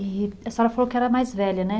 E a senhora falou que era a mais velha, né?